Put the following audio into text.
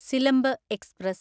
Silambu express